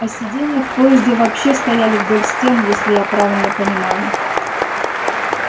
а сиденья в поезде вообще стояли вдоль стен если я правильно понимаю